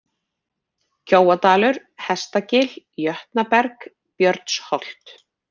Kjóadalur, Hestagil, Jötnaberg, Björnsholt